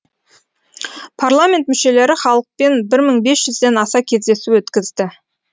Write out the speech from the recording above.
парламент мүшелері халықпен бір мың бес жүзден аса кездесу өткізді